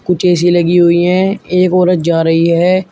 कुछ ए_सी लगी हुई है एक औरत जा रही है।